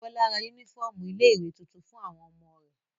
Bọ́lá ra únífọ́ọ́mù ilé-ìwé tuntun fún àwọn ọmọ rẹ̀.